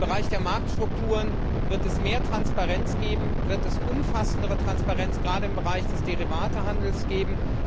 Im Bereich der Marktstrukturen wird es mehr Transparenz geben, wird es im Rahmen der MiFID umfassendere Transparenz gerade im Bereich des Derivatehandels geben.